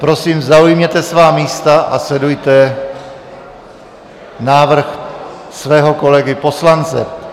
Prosím, zaujměte svá místa a sledujte návrh svého kolegy poslance.